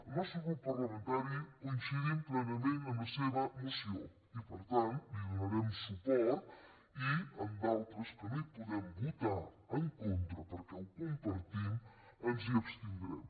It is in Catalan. el nostre grup parlamentari coincidim plenament amb la seva moció i per tant li donarem suport i en d’altres que no hi podem votar en contra perquè ho compartim ens hi abstindrem